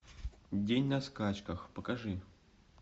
день на скачках покажи